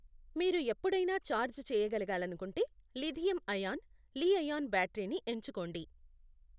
మీరు ఎప్పుడైనా ఛార్జ్ చేయ గలగాలనుకుంటే లిథియం అయాన్, లీ ఐయాన్ బ్యాటరీని ఎంచుకోండి.